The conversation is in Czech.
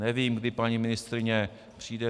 Nevím, kdy paní ministryně přijde.